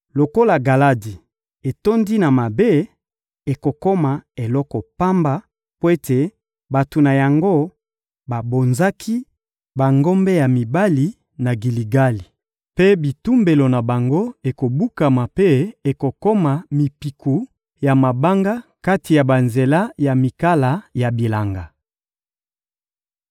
Lokola Galadi etondi na mabe, ekokoma eloko pamba mpo ete bato na yango babonzaki bangombe ya mibali na Giligali; mpe bitumbelo na bango ekobukama mpe ekokoma mipiku ya mabanga kati na banzela ya mikala ya bilanga.